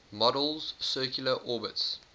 model's circular orbits